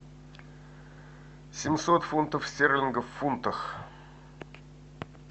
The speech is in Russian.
семьсот фунтов стерлингов в фунтах